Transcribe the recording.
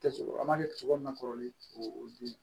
Kɛ cogo an ma kɛ cogo min na kɔrɔlen o dimi